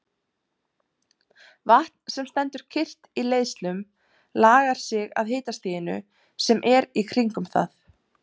Vatn sem stendur kyrrt í leiðslum lagar sig að hitastiginu sem er í kringum það.